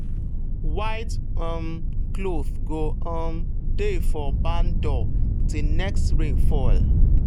white um cloth go um dey for barn door till next rain fall.